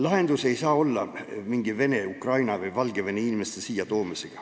Lahendus ei saa olla Vene, Ukraina või Valgevene inimeste siia toomine.